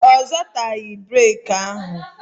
Ọ zọtaghị breki ahụ